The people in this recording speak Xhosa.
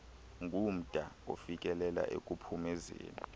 ngumda ofikelela ekuphumezeni